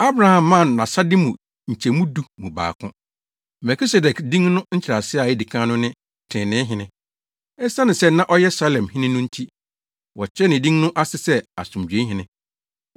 Abraham maa no nʼasade no mu nkyɛmu du mu baako. Melkisedek din no nkyerɛase a edi kan no ne Trenee Hene. Esiane sɛ na ɔyɛ Salem hene no nti, wɔkyerɛɛ ne din no ase sɛ Asomdwoe hene.